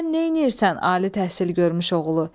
Sən neynəyirsən ali təhsil görmüş oğulu?